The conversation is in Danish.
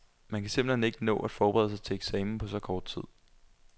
Man kan simpelt hen ikke nå at forberede sig til eksamen på så kort tid.